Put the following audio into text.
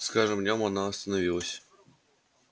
с каждым днём она становилась